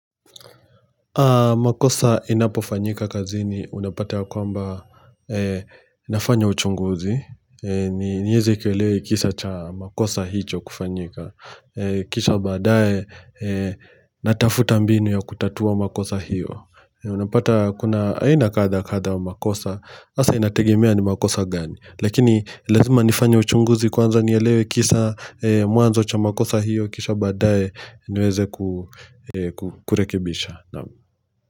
Makosa inapofanyika kazini unapata ya kwamba nafanya uchunguzi niweze kuelewela kisa cha makosa hicho kufanyika Kisha badae natafuta mbinu ya kutatua makosa hiyo Unapata kuna aina kadha kadha wa makosa hasa inategemea ni makosa gani Lakini lazima nifanye uchunguzi kwanza nielewe kisa mwanzo cha makosa hiyo Kisha badae niweze kurekebisha no.